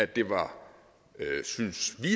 det var synes vi